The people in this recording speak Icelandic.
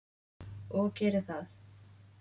Og geri það.